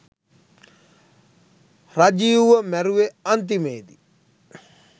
රජීව්ව මැරුවෙ අන්තිමේදි